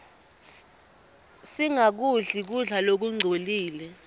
singakudli kudla lokungcolile